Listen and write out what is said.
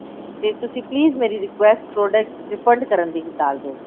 ਤੇ ਤੁਸੀਂ please ਮੇਰੀ request product refund ਕਰਨ ਦੀ ਡਾਲ ਦੋ